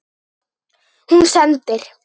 Hún sendir